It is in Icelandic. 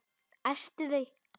Æsti þau.